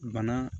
Bana